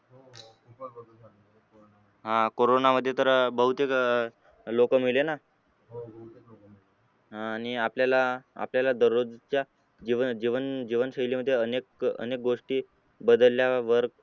corona मध्ये तर बहुतेक लोक मेलेला ना आह आणि आपल्याला आपल्याला दररोजच्या जीवन जीवन जीवनशैली मध्ये अनेक अनेक गोष्टी बदलल्यावर